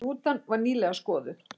Rútan var nýlega skoðuð